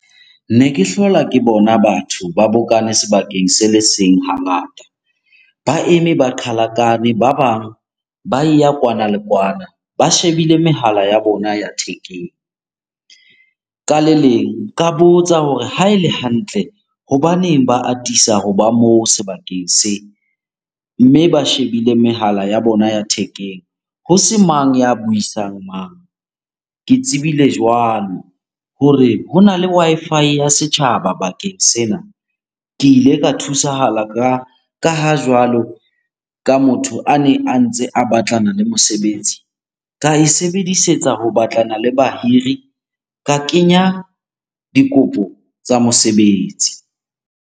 Ne ke hlola ke bona batho ba bokane sebakeng se le seng hangata. Ba eme ba qhalakane, ba bang ba e ya kwana le kwana ba shebile mehala ya bona ya thekeng. Ka le leng, ka botsa hore ha ele hantle hobaneng ba atisa ho ba moo sebakeng se? Mme ba shebile mehala ya bona ya thekeng ho se mang ya buisang mang? Ke tsebile jwalo hore hona le Wi-Fi ya setjhaba bakeng sena. Ke ile ka thusahala ka ha jwalo ka motho a neng a ntse a batlana le mosebetsi. Ka e sebedisetsa ho batlana le bahiri, ka kenya dikopo tsa mosebetsi.